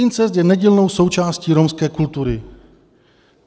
Incest je nedílnou součástí romské kultury.